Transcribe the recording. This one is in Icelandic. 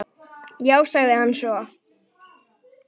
Já, sagði hann svo.